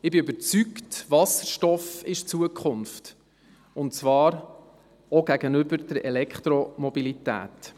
Denn ich bin überzeugt, Wasserstoff ist die Zukunft, und zwar auch gegenüber der Elektromobilität.